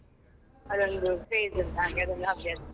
ಅದೊಂದು page ಉಂಟು ಹಾಗೆ ಅದೊಂದು ಅಭ್ಯಾಸ.